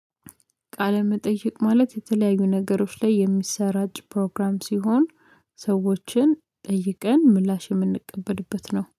ቃለ መጠየቅ ማለት የተለያዩ ነገሮች ላይ የሚሰራጭ ፕሮግራም ሲሆን ሰዎችን ጠይቀን ምላሽ የምንቀበልበት ነው።